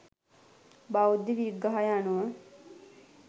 බෞද්ධ විග්‍රහය අනුව